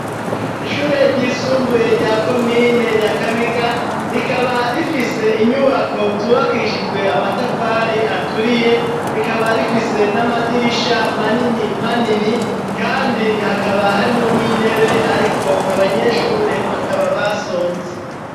Ishure ryisumbuye rya komine Nyakabiga rikaba rifise inyubako zubakishije amatafari aturiye , rikaba rifise n'amadirisha manini manini kandi hakaba harimwo n'intebe kandi abanyeshure bakaba basohotse.